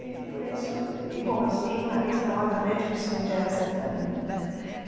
E, por isso e como eu sou jornalista, obviamente que isso me interessa também né.